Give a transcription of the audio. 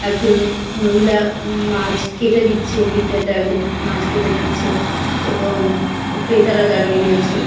একজন মহিলা উম-ম মাছ কেটে দিচ্ছে বিক্রেতা একজন উম মাছ কেটে দিচ্ছে এবং ক্রেতারা দাঁড়িয়ে রয়েছে।